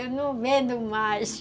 Eu não vendo mais.